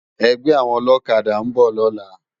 Ègbè áwòn òlòkàdá n bò lòlá